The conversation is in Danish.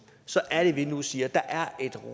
så er det at vi nu siger at der er et